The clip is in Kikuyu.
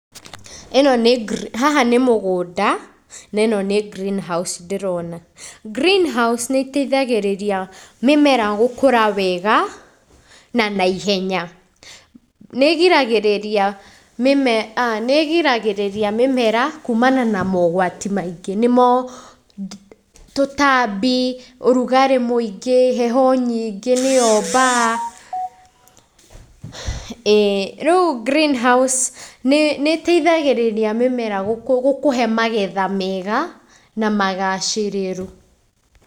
ĩno nĩ, haha nĩ mũgũnda na ĩno nĩ greenhouse ndĩrona. Greenhouse nĩ ĩteithagĩrĩria mĩmera gũkũra wega na naihenya. Nĩgĩragĩrĩria mĩmera kumana na mogwati maingĩ nĩmo tũtambi, ũrugarĩ mũingĩ, heho nyingĩ nĩyo mbaa. ĩĩ, rĩu greenhouse nĩ ĩteithagĩrĩria mĩmera gũkũhe magetha mega na magacĩrĩru.